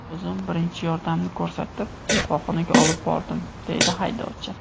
O‘zim birinchi yordamni ko‘rsatib, shifoxonaga olib bordim”, deydi haydovchi.